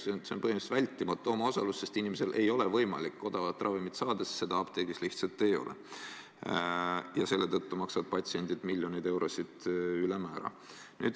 See on põhimõtteliselt vältimatu omaosalus, sest inimesel ei ole võimalik odavat ravimit saada, sest seda apteegis lihtsalt ei ole, ja selle tõttu maksavad patsiendid miljoneid eurosid ülemäära.